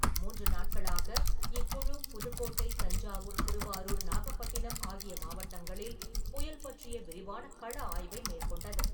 மூன்று நாட்களாக இக்குழு புதுக்கோட்டை, தஞ்சாவூர், திருவாரூர், நாகப்பட்டினம் ஆகிய மாவட்டங்களில் புயல் பற்றிய விரிவான கள ஆய்வை மேற்கொண்டது.